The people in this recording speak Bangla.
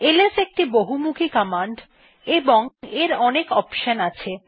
এলএস একটি খুব বহমুখি কমান্ড এবং এর অনেক অপশন আছে